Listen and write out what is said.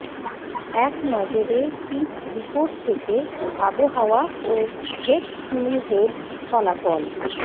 একনজরে pitch report থেকে আবহাওয়া ও হেড টু হেড ফলাফল